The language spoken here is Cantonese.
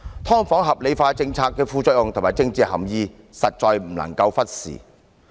"劏房"合理化的政策的副作用及政治含意，實在不能夠忽視。